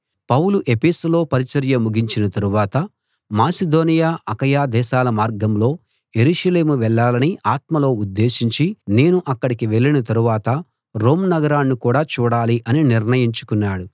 పౌలు ఎఫెసులో పరిచర్య ముగించిన తరువాత మాసిదోనియ అకయ దేశాల మార్గంలో యెరూషలేము వెళ్ళాలని ఆత్మలో ఉద్దేశించి నేను అక్కడికి వెళ్ళిన తరువాత రోమ్ నగరాన్ని కూడా చూడాలి అని నిర్ణయించుకున్నాడు